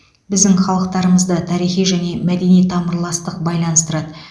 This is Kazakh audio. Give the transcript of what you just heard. біздің халықтарымызды тарихи және мәдени тамырластық байланыстырады